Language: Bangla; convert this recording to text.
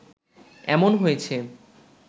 এমন হয়েছে